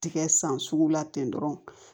Tigɛ san sugu la ten dɔrɔn